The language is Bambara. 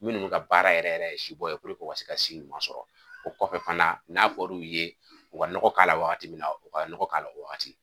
Minnu ka baara yɛrɛ yɛrɛ ye si bɔ ye u ka se ka si ɲuman sɔrɔ o kɔfɛ fana n'a fɔr'u ye u ka nɔgɔ k'a la waati min na u ka nɔgɔ k'a o waati